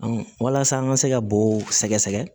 walasa an ka se ka bo sɛgɛsɛgɛ